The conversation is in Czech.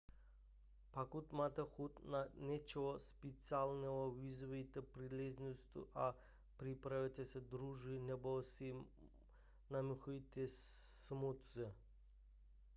pokud máte chuť na něco speciálního využijte příležitost a připravte si džus nebo si namixujte smoothie